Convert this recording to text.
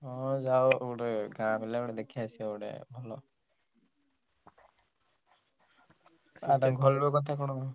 ହଉ ଯାଅ ଗୋଟେ ଗାଁ ପିଲାକୁ ଦେଖିଆସିବ ଗୋଟେ ଭଲ। ର କଥା କଣ?